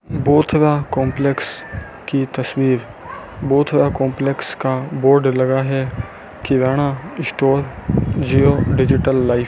Bothra complex की तस्वीर Bothra complex का बोर्ड लगा है kirana store Jio digital life --